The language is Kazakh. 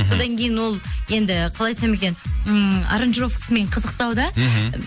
содан кейін ол енді қалай айтсам екен ммм аранжировкасымен қызықтау да мхм